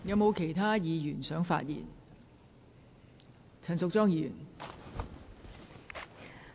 是否有其他委員想發言？